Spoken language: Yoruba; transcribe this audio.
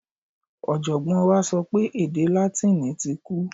Ọ̀jọ̀gbọ́n wa sọ pé èdè Látíìnì ti kú.